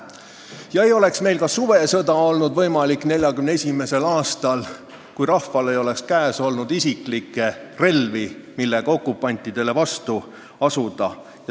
Ei oleks olnud võimalik ka suvesõda 1941. aastal, kui rahval ei oleks käes olnud isiklikke relvi, millega okupantidele vastu astuda.